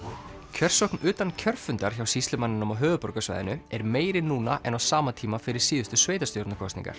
kjörsókn utan kjörfundar hjá sýslumanninum á höfuðborgarsvæðinu er meiri núna en á sama tíma fyrir síðustu sveitarstjórnarkosningar